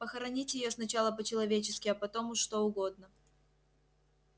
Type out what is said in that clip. похоронить её сначала по-человечески а потом что угодно